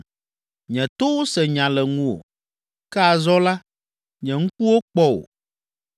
Nye towo se nya le ŋuwò, ke azɔ la, nye ŋkuwo kpɔ wò